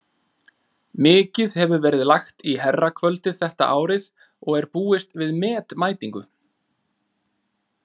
Mikið hefur verið lagt í herrakvöldið þetta árið og er búist við met mætingu.